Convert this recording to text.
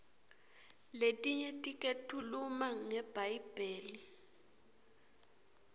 letinye tiketuluma nge bhayibheli